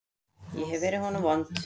Ég hef verið honum vond.